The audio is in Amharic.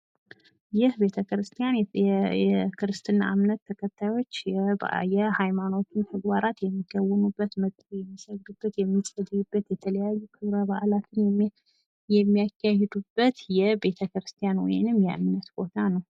ይህ ቤተክርስቲያን የክርስትና እምነት ተከታዮች የሃይማኖቱን ተግባራት የሚከውኑበት ፣ መተው የሚሰግዱበት፣ የሚጸልዩበት ፣ የተለያዩ ክብረ በአላትን የሚያካሂዱበት የቤተክርቲያን ወይም የእምነት ቦታ ነው።